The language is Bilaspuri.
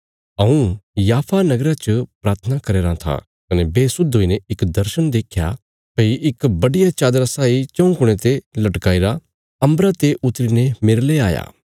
हऊँ याफा नगरा च प्राथना करया राँ था कने बेसुध हुईने इक दर्शण देख्या भई इक बड्डिया चादरा साई चऊँ कुणयां ते लटकाई रा अम्बरा ते उतरी ने मेरले आया